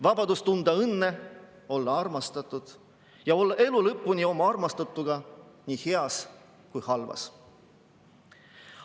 Vabadus tunda õnne, olla armastatud ja olla elu lõpuni oma armastatuga koos nii heas kui ka halvas.